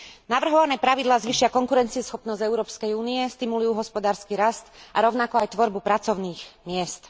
Navrhované pravidlá zvýšia konkurencieschopnosť Európskej únie, stimulujú hospodársky rast a rovnako aj tvorbu pracovných miest.